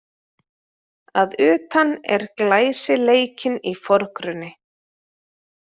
Að utan er glæsileikinn í forgrunni